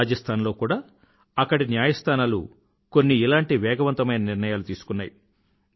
రాజస్థాన్ లో కూడా అక్కడి న్యాయస్థానాలు కొన్ని ఇలాంటి వేగవంతమైన నిర్ణయాలు తీసుకున్నాయి